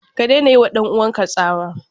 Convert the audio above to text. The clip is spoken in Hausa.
Ka daina yiwa ɗan uwanka tsawa!